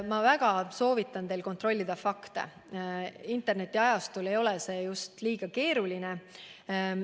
Ma väga soovitan teil fakte kontrollida, internetiajastul ei ole see just eriti keeruline.